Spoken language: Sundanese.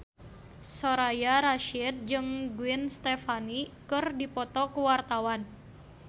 Soraya Rasyid jeung Gwen Stefani keur dipoto ku wartawan